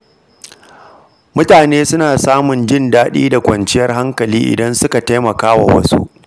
Mutane suna samun jin daɗi da kwanciyar hankali idan suka taimaka wa wasu.